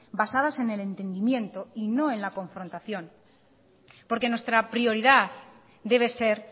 basadas en el entendimiento y no en la confrontación porque nuestra prioridad debe ser